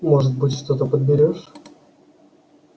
может быть что-то подберёшь